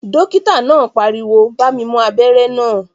Dókítà náà pariwo "bá mi mú abẹ́rẹ́ náà